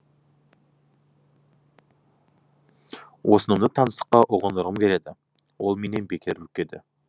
осынымды таңсыққа ұғындырғым келеді ол менен бекер үркеді